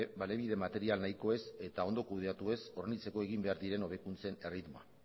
baliabide material nahiko ez eta ondo kudeatu ez hornitzeko egin behar diren hobekuntzen erritmoa